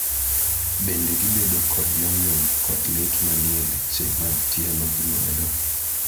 bende gibedo kod yomyom kod lit manie leche mag tielo gi lwedo